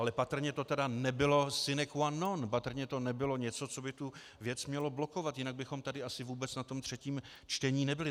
Ale patrně to tedy nebylo sine qua non, patrně to nebylo něco, co by tu věc mělo blokovat, jinak bychom tady asi vůbec na tom třetím čtení nebyli.